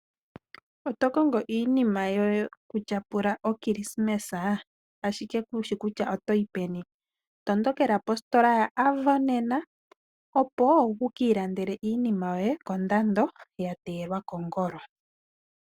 Oto kongo iinima yokutyapula okilisimesa, ihe kushi kutya otoyi peni? Tondokela kositola yo Avo nena, opo wukiilandele iinima yoye, ya teyelwa kongolo.